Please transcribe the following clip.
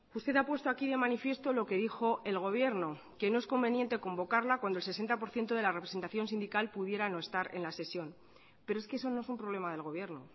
usted ha puesto aquí de manifiesto lo que dijo el gobierno que no es conveniente convocarla cuando el sesenta por ciento de la representación sindical pudiera no estar en la sesión pero es que eso no es un problema del gobierno